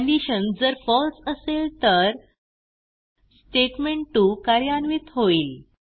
condition जर फळसे असेल तर स्टेटमेंट2 कार्यान्वित होईल